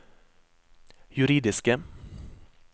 juridiske